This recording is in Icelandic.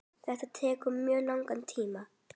Þetta tekur mjög langan tíma.